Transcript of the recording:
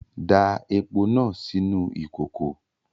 Da epo náà sínú ìkòkò!